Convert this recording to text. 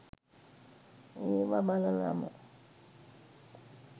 ඒව බලලම